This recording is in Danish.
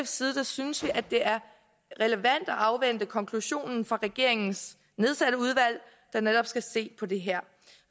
side synes vi at det er relevant at afvente konklusionen fra regeringens nedsatte udvalg der netop skal se på det her